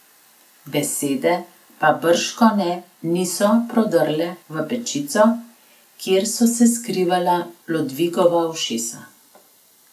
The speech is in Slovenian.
Besede pa bržkone niso prodrle v pečico, kjer so se skrivala Lodvigova ušesa.